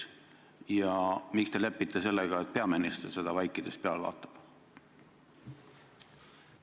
Ja miks te lepite sellega, et peaminister seda vaikides pealt vaatab?